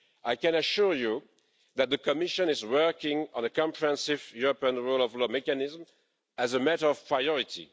I can assure you that the Commission is working on a comprehensive European rule of law mechanism as a matter of priority.